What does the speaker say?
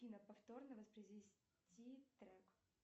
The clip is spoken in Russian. афина повторно воспроизвести трек